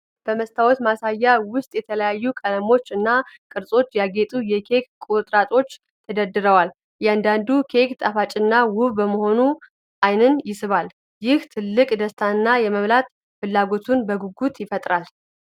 በመስታወት ማሳያ ውስጥ በተለያዩ ቀለሞች እና ቅርጾች ያጌጡ የኬክ ቁርጥራጮች ተደርድረዋል። እያንዳንዱ ኬክ ጣፋጭና ውብ በመሆኑ ዓይንን ይስባል፤ ይህም ትልቅ ደስታንና የመብላት ፍላጎትን በጉጉት ይፈጥራል።